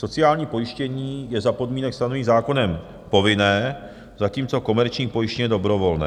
Sociální pojištění je za podmínek stanovených zákonem povinné, zatímco komerční pojištění je dobrovolné.